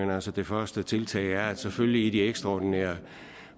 altså det første tiltag er at selvfølgelig i de ekstraordinære